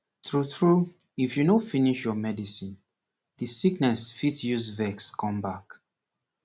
tru tru if you no finish your medicine the sickness fit use vex come back